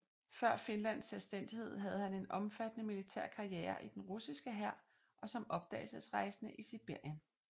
Før Finlands selvstændighed havde han en omfattende militær karriere i den russiske hær og som opdagelsesrejsende i Sibirien